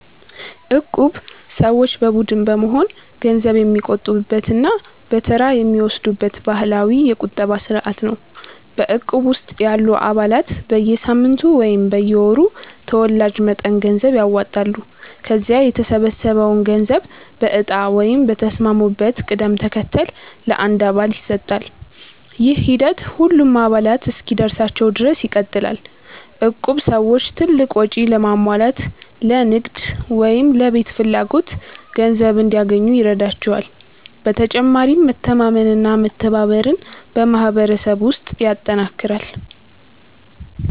እቁብ ሰዎች በቡድን በመሆን ገንዘብ የሚቆጥቡበት እና በተራ የሚወስዱበት ባህላዊ የቁጠባ ስርዓት ነው። በእቁብ ውስጥ ያሉ አባላት በየሳምንቱ ወይም በየወሩ ተወላጅ መጠን ገንዘብ ያዋጣሉ። ከዚያ የተሰበሰበው ገንዘብ በእጣ ወይም በተስማሙበት ቅደም ተከተል ለአንድ አባል ይሰጣል። ይህ ሂደት ሁሉም አባላት እስኪደርሳቸው ድረስ ይቀጥላል። እቁብ ሰዎች ትልቅ ወጪ ለማሟላት፣ ለንግድ ወይም ለቤት ፍላጎት ገንዘብ እንዲያገኙ ይረዳቸዋል። በተጨማሪም መተማመንና መተባበርን በማህበረሰብ ውስጥ ያጠናክራል።